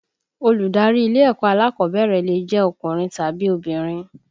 Olùdarí ilé ẹ̀kọ́ alákọ̀ọ́bẹ̀rẹ̀ lè jẹ́ ọkùnrin tàbí obìnrin